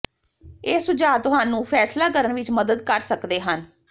ਇਹ ਸੁਝਾਅ ਤੁਹਾਨੂੰ ਫੈਸਲਾ ਕਰਨ ਵਿੱਚ ਮਦਦ ਕਰ ਸਕਦੇ ਹਨ